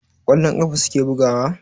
Kwallon ƙafa suke bugawa?